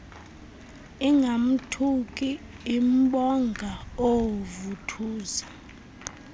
ingamthuki imbonga oovuthuza